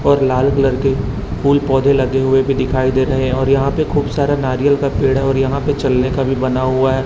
और लाल कलर के फूल पौधे लगे हुए भी दिखाई दे रहे हैं और यहां पे खूब सारा नारियल का पेड़ है और यहां पे चलने का भी बना हुआ है।